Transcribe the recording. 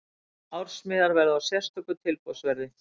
Ársmiðar verða á sérstöku tilboðsverði.